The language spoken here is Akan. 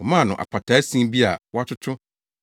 Wɔmaa no apataa sin bi a wɔatoto